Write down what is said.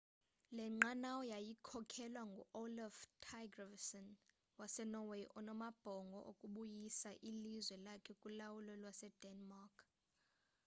le nqanawa yayikhokelwa ngu-olaf trygvasson wasenorway onamabhongo okubuyisa ilizwe lakhe kulawulo lwasedenmark